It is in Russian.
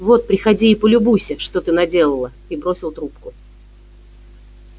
вот приходи и полюбуйся что ты наделала и бросил трубку